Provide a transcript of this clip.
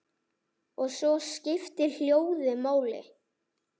Og svo skiptir hljóðið máli.